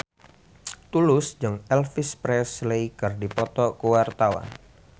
Tulus jeung Elvis Presley keur dipoto ku wartawan